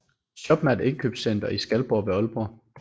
Shoppen er et indkøbscenter i Skalborg ved Aalborg